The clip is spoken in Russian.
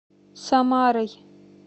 самарой